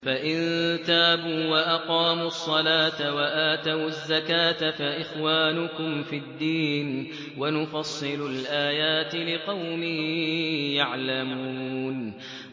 فَإِن تَابُوا وَأَقَامُوا الصَّلَاةَ وَآتَوُا الزَّكَاةَ فَإِخْوَانُكُمْ فِي الدِّينِ ۗ وَنُفَصِّلُ الْآيَاتِ لِقَوْمٍ يَعْلَمُونَ